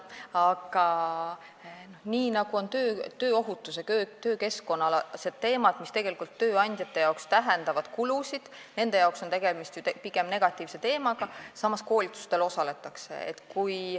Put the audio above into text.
Aga ka tööohutuse ja töökeskkonna teemad tähendavad tööandjatele kulusid, nende jaoks on tegemist ju pigem negatiivsete teemadega, samas koolitustel osaletakse.